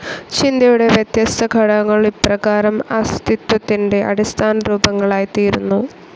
ചിന്തയുടെ വ്യത്യസ്ത ഘടകങ്ങൾ ഇപ്രകാരം അസ്തിത്വത്തിന്റെ അടിസ്ഥാനരൂപങ്ങളായി ത്തീരുന്നു.